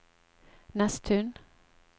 Nesttun